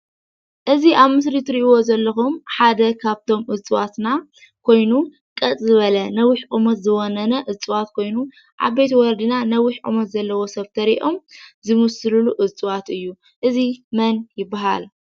እዚ አብ ምስሊ ትሪኢዎ ዘለኩም ሓደ ካብቶም እፅዋትና ኮይኑ ቀጥ ዝበለ ነዊሕ ቁሙት ዝወነነ እፅዋት ኮይኑ ዓበይቲ ወለድና ነዊሕ ቁመት ዘለዎ ሰብ እንተሪኦም ዝምስሉሉ እፅዋት እዩ። እዚ መን ይበሃል?